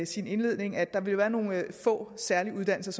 sin indledning at der vil være nogle få særlige uddannelser